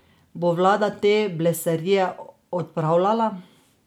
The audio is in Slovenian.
Bo vlada te blesarije odpravljala?